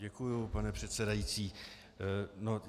Děkuji, pane předsedající.